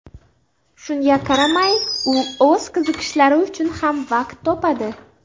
Shunga qaramay, u o‘z qiziqishlari uchun ham vaqt topadi.